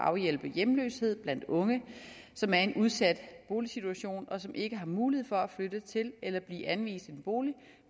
og afhjælpe hjemløshed blandt unge som er i en udsat boligsituation og som ikke har mulighed for at flytte til eller blive anvist en bolig